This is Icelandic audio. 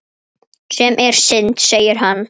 Sem er synd segir hann.